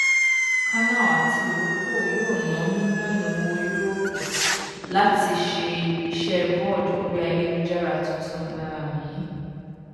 canal àti iroko yóò ná mílíọnù owó yúróòpù láti ṣe iṣẹ vod orí ayélujára tuntun um yìí